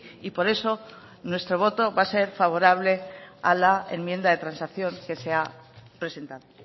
y por eso nuestro voto va a ser favorable a la enmienda de transacción que se ha presentado